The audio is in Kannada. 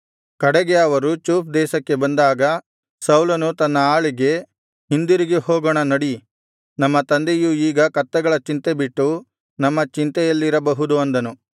ಕಡೆಗೆ ಅವರು ಚೂಫ್ ದೇಶಕ್ಕೆ ಬಂದಾಗ ಸೌಲನು ತನ್ನ ಆಳಿಗೆ ಹಿಂದಿರುಗಿ ಹೋಗೋಣ ನಡಿ ನಮ್ಮ ತಂದೆಯು ಈಗ ಕತ್ತೆಗಳ ಚಿಂತೆ ಬಿಟ್ಟು ನಮ್ಮ ಚಿಂತೆಯಲ್ಲಿರಬಹುದು ಅಂದನು